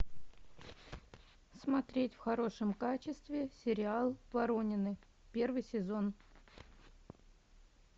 смотреть в хорошем качестве сериал воронины первый сезон